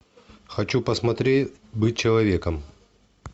хочу посмотреть быть человеком